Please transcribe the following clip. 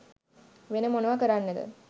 වෙන මොනව කරන්නද